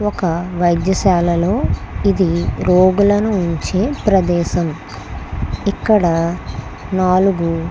ఒక వైద్యశాలలో ఇది రోగులను ఉంచే ప్రదేశం. ఇక్కడ నాలుగు--